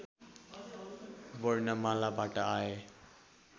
वर्णमालाबाट आए